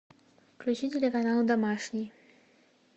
включи телеканал домашний